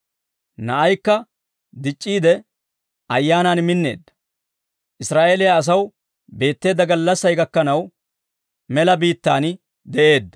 Na'aykka dic'c'iide, ayaanaan minneedda; Israa'eeliyaa asaw beetteedda gallassay gakkanaw mela biittaan de'eedda.